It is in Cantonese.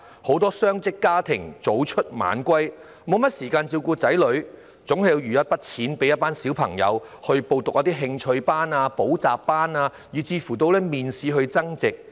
很多雙職家庭的父母早出晚歸，沒有時間照顧子女，但亦總要預留儲蓄為子女報讀興趣班、補習班甚或模擬面試，替他們增值。